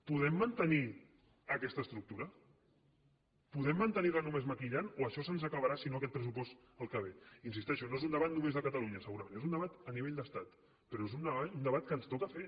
podem mantenir aquesta estructura podem mantenir la només maquillant o això se’ns acabarà si no aquest pressupost el que ve hi insisteixo no és un debat només de catalunya segurament és un debat a nivell d’estat però és un debat que ens toca fer